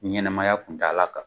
Ɲɛnɛmaya kun taala kan